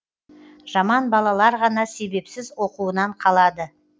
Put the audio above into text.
жаман балалар ғана себепсіз оқуынан қалады